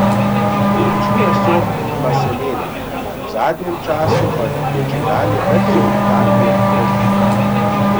Večina sort ima semena, v zadnjem času pa je čedalje več sort kakijev brez njih.